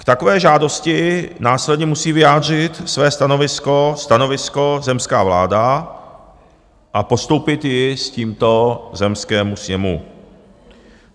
K takové žádosti následně musí vyjádřit své stanovisko zemská vláda a postoupit ji s tímto zemskému sněmu.